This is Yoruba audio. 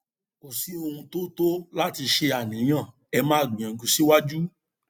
kò sí ohun tó tó láti ṣe àníyàn ẹ máa gbìyànjú síwájú